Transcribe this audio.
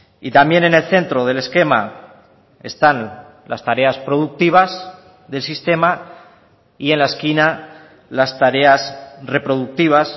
y también en el centro del esquema están las tareas productivas del sistema y en la esquina las tareas reproductivas